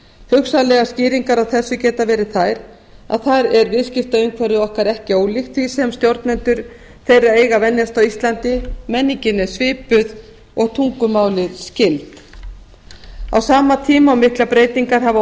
hugsanlegar skýringar á þessu geta verið þær að þar er viðskiptaumhverfið ekki ólíkt því sem stjórnendur þeirra eiga að venjast á íslandi menningin er svipuð og tungumálin skyld á sama tíma og miklar breytingar hafa